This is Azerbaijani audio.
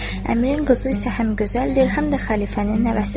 Əmirin qızı isə həm gözəldir, həm də xəlifənin nəvəsidir.